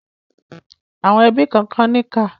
Àwọn ẹbí kànkan níkà.